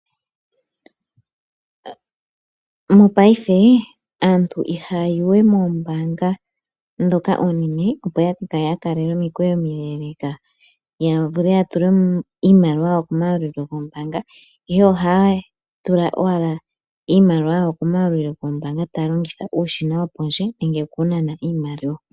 Mopaife aantu ihaya yiwe moombaanga ndhoka oonene opo ya ka kale ya kalela omikwewo omileleeka ya vule ya tule mo iimaliwa yawo komayalulilo goombaanga, ihe ohaya tula iimaliwa yawo komayalulilo goombaanga taya longitha uushina wopondje nenge wokunana iimaliwa.